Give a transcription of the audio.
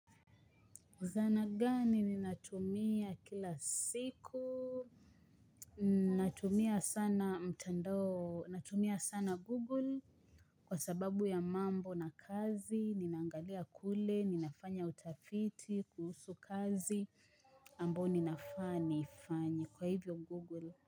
Zana gani ni natumia kila siku, natumia sana mtandao, natumia sana Google kwa sababu ya mambo na kazi, ninaangalia kule, ninafanya utafiti, kuhusu kazi, ambo ninafaa, nifanye kwa hivyo Google.